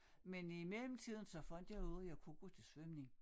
Men i mellemtiden så fandt jeg ud af jeg kunne gå til svømning